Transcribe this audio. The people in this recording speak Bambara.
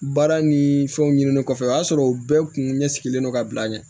Baara ni fɛnw ɲinini kɔfɛ o y'a sɔrɔ o bɛɛ kun ɲɛ sigilen don ka bila ɲɛ